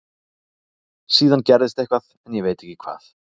Síðan gerðist eitthvað en ég veit ekki hvað.